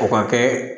O ka kɛ